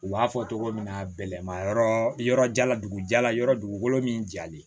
U b'a fɔ togo min na bɛlɛn yɔrɔ yɔrɔ ja la dugu jala yɔrɔ min jalen